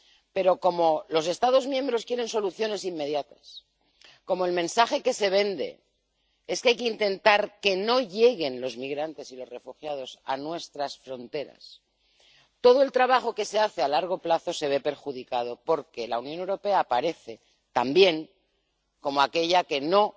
Pero como los Estados miembros quieren soluciones inmediatas, como el mensaje que se vende es que hay que intentar que no lleguen los migrantes y los refugiados a nuestras fronteras, todo el trabajo que se hace a largo plazo se ve perjudicado porque la Unión Europea aparece, también, como aquella que no